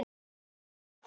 Það var fínt.